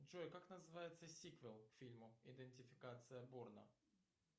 джой как называется сиквел к фильму идентификация борна